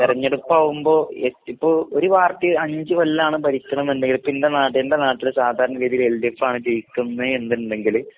തിരഞ്ഞെടുപ്പാകുമ്പോ ഏഹ് ഇപ്പോ ഒരു പാർട്ടിഅഞ്ചുകൊല്ലാണ്‌ ഭരിക്കണന്നുണ്ടെങ്കിൽ എൻ്റെനാട്ടില് എൻറെ നാട്ടില് സാധാരണാഗതില് എൽഡിഎഫ്ആണ് ജയിക്കുന്നതെന്നുണ്ടെങ്കില്